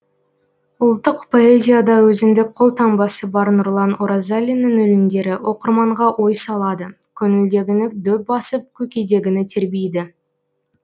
ұлттық поэзияда өзіндік қолтаңбасы бар нұрлан оразалиннің өлеңдері оқырманға ой салады көңілдегіні дөп басып көкейдегіні тербейді